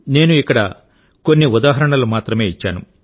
నేను ఇక్కడ కొన్ని ఉదాహరణలు మాత్రమే ఇచ్చాను